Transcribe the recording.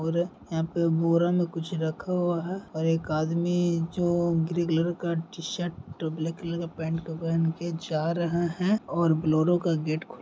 और य यहाँ पे एक बोरा में कुछ रखा हुआ है और एक आदमी जो ग्रे कलर का टी-शर्ट ब्लैक कलर का पेंट पे पहन के जा रहे हैं और बिल्लोरे का गेट खु --